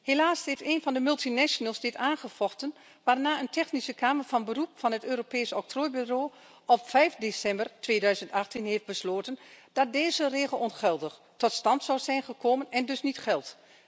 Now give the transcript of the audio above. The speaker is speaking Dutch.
Helaas heeft een van de multinationals dit aangevochten waarna een Technische Kamer van Beroep van het Europees Octrooibureau op 5 december 2018 heeft besloten dat deze regel ongeldig tot stand zou zijn gekomen en dus niet geldt.